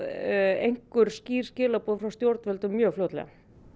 einhver skýr skilaboð frá stjórnvöldum mjög fljótlega